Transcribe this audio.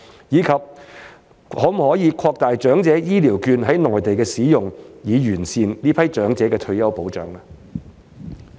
以及可否擴大長者醫療券在內地的使用，以完善這群長者的退休保障？